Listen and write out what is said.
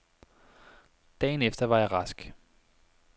Dagen efter var jeg rask.